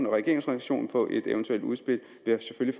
regeringens reaktion på et eventuelt udspil vil jeg